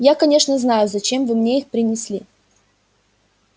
я конечно знаю зачем вы мне их принесли